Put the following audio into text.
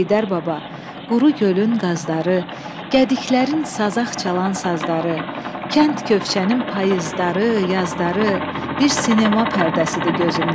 Heydər Baba, quru gölün qazları, gədiklərin sazaq çalan sazları, kənd köfçənin payızları, yazları bir sinema pərdəsidir gözümdə.